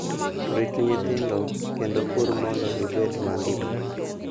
Rit nyithindo, kendo pur mondo ibed mangima.